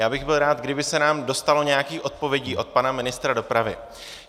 Já bych byl rád, kdyby se nám dostalo nějakých odpovědí od pana ministra dopravy.